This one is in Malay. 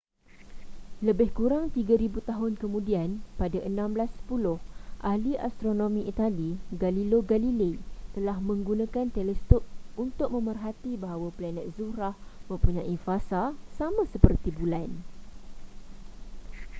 lebih kurang tiga ribu tahun kemudian pada 1610 ahli astronomi itali galileo galilei telah menggunakan teleskop untuk memerhati bahawa planet zuhrah mempunyai fasa sama seperti bulan